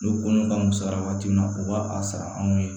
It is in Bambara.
N'o kolon ka misɛnya waati min na o b'a a sara anw ye